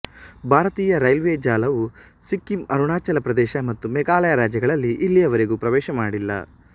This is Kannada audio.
ಭಾರತೀಯ ರೈಲ್ವೆ ಜಾಲವು ಸಿಕ್ಕಿಮ್ ಅರುಣಾಚಲ ಪ್ರದೇಶ ಮತ್ತು ಮೇಘಾಲಯ ರಾಜ್ಯಗಳಲ್ಲಿ ಇಲ್ಲಿಯವರೆಗೂ ಪ್ರವೇಶ ಮಾಡಿಲ್ಲ